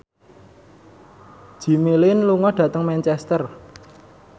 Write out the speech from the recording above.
Jimmy Lin lunga dhateng Manchester